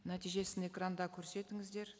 нәтижесін экранда көрсетіңіздер